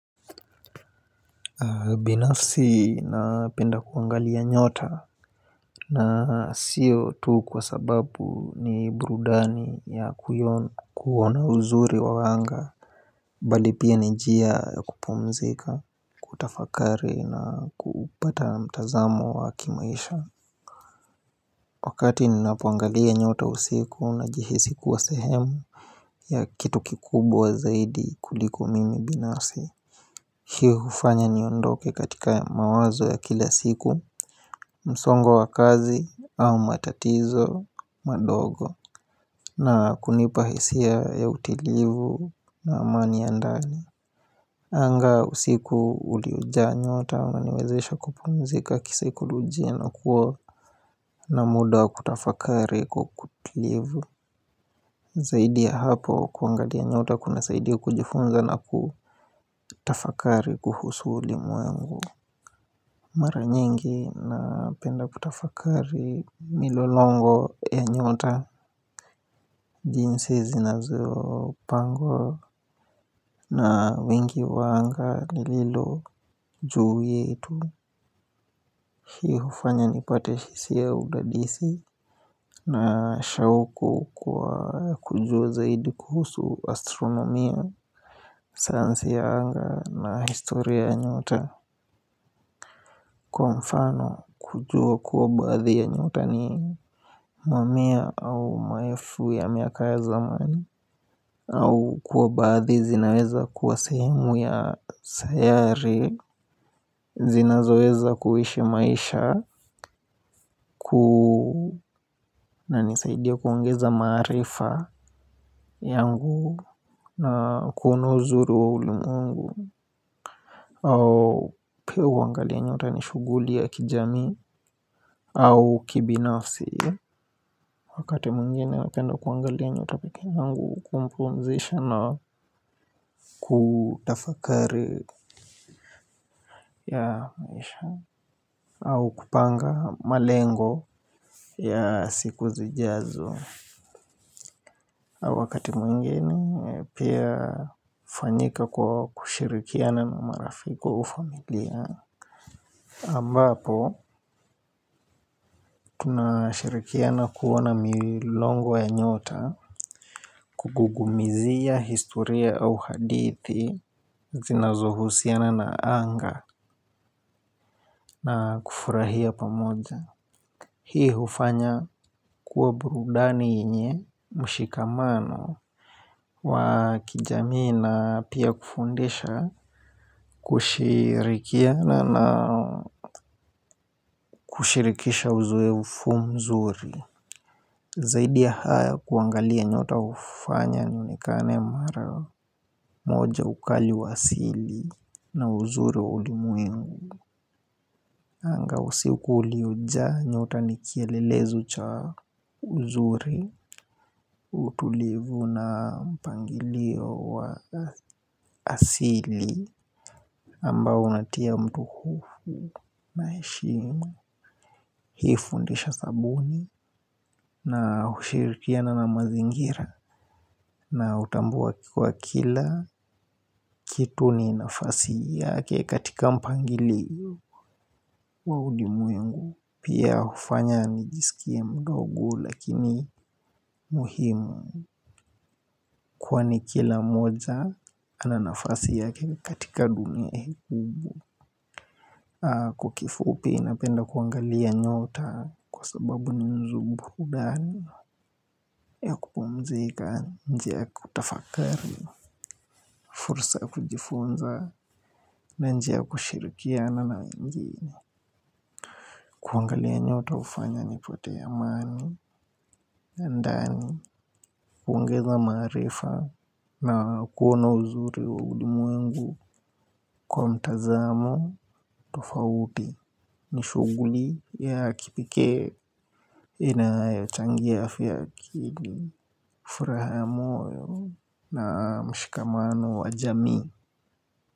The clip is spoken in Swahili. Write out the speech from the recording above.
Binafsi na penda kuangalia nyota. Na sio tu kwa sababu ni burudani ya kuiona kuona uzuri wa wanga. Bali pia ni njia ya kupumzika kutafakari na kupata mtazamo wa kimaisha. Wakati ninapoangalia nyota usiku na jihisi kuwa sehemu ya kitu kikubwa zaidi kuliko mimi binafsi. Hii hufanya niondoke katika ya mawazo ya kila siku. Msongo wa kazi au matatizo madongo na kunipa hisia ya utilivu na amani ya ndani. Anga usiku huli jaa nyota. Waniwezesha kupumzika kisaikolojia na kuwa na muda wa kutafakari kwa utulivu. Zaidi ya hapo kuangalia nyota kuna saidi kujifunza na kutafakari kuhusu ulimwengu. Mara nyingi na penda kutafakari milolongo ya nyota. Jinsi zinazo pangwa na wengi wa anga lililo juu yetu. Hii hufanya ni pate hisia ya udadisi na shauku kwa kujua zaidi kuhusu astronomia, sayansi ya anga na historia ya nyota. Kwa mfano kujua kuwa baadhi ya nyota ni mamia au maelfu ya miaka ya zamani au kuwa badhi zinaweza kuwa sehemu ya sayari. Zina zoweza kuishi maisha na nisaidia kuongeza maarifa yangu na kuona uzuri wa ulimwengu au pia huangalia nyota nishughuli ya kijamii au kibinafsi. Wakati mwingine napenda kuangalia nyota peke yangu kumpumzisha na kutafakari au kupanga malengo ya siku zijazo au wakati mwingine pia hufanyika kwa kushirikiana na marafiki au familia ambapo tuna shirikiana kuona milongo ya nyota. Kugugumizia historia au hadithi zinazohusiana na anga na kufurahia pamoja. Hii hufanya kuwa burudani yenye mshikamano wa kijamii na pia kufundisha kushirikiana na kushirikisha uzowefu mzuri. Zaidi ya haya kuangalia nyota hufanya nionekane mara moja ukali wa asili na uzuri wa ulimwengu. Anga usiku uliojaa nyota nikielelezo cha uzuri utulivu na mpangilio wa asili ambao unatia mtu hofu na heshimu. Hii fundisha sabuni na hushirikiana na mazingira na utambuwa kwa kila kitu ni nafasi yake katika mpangilio wa ulimwengu. Pia hufanya nijisikie mdogo lakini muhimu. Kwani kila moja ananafasi yake katika dunia hii kubwa. Kwa kifupi napenda kuangalia nyota kwa sababu ni nzubudani ya kupumzika njia ya kutafakari. Fursa ya kujifunza na njia ya kushirikiana na wengine. Kuangalia nyota hufanya nipate amani ya ndani kuongeza maarifa na kuona uzuri wa ulimwengu kwa mtazamo tofauti. Nishughuli ya kipekee inayo changia afya ya akili furaha ya moyo na mshikamano wa jamii.